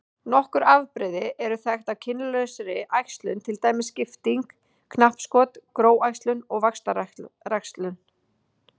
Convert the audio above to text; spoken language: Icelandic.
Nokkur afbrigði eru þekkt af kynlausri æxlun til dæmis skipting, knappskot, gróæxlun og vaxtaræxlun.